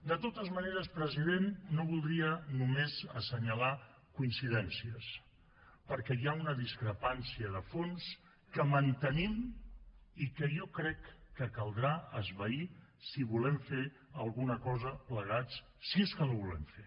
de totes maneres president no voldria només assenyalar coincidències perquè hi ha una discrepància de fons que mantenim i que jo crec que caldrà esvair si volem fer alguna cosa plegats si és que la volem fer